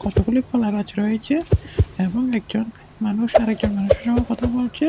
কতগুলি কলাগাছ রয়েচে এবং একজন মানুষ আরেকজন মানুষের সঙ্গেও কথা বলছে।